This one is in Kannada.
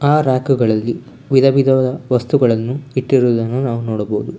ಆ ರ್ಯಾಕ್ ಗಳಲ್ಲಿ ವಸ್ತುಗಳನ್ನು ವಿಧವಿಧವಾದ ವಸ್ತುಗಳನ್ನು ಇಟ್ಟಿರುವುದನ್ನು ನಾವು ನೋಡಬಹುದು.